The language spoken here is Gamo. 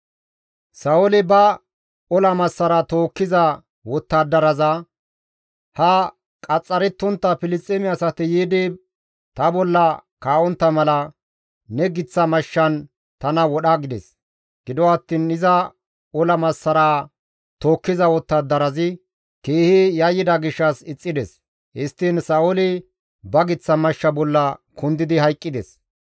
Sa7ooli ba ola massara tookkiza wottadaraza, «Ha qaxxarettontta Filisxeeme asati yiidi ta bolla kaa7ontta mala ne giththa mashshan tana wodha» gides. Gido attiin iza ola massaraa tookkiza wottadarazi keehi yayyida gishshas ixxides; histtiin Sa7ooli ba giththa mashsha bolla kundidi hayqqides.